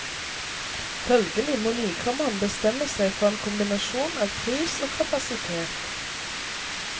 Følgelig må nykommeren bestemme seg for en kombinasjon av pris og kapasitet.